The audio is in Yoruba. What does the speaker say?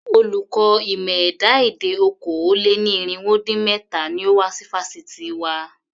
Olùkọ́ ìmọ̀ ẹ̀dá-èdè okòó-lé-ní-irínwó-dín-méta ni ó wà ní fásitì wa.